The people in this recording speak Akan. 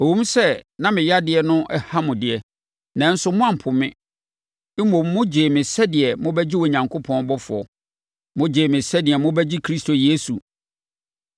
Ɛwom sɛ na me yadeɛ no ha mo deɛ, nanso moampo me. Mmom, mogyee me sɛdeɛ mobɛgye Onyankopɔn ɔbɔfoɔ; mogyee me sɛdeɛ mobɛgye Kristo Yesu.